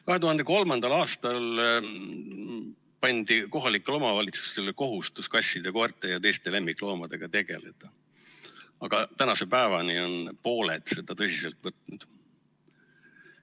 2003. aastal pandi kohalikele omavalitsustele kohustus kasside, koerte ja teiste lemmikloomadega tegelda, aga tänase päevani on ainult pooled seda tõsiselt võtnud.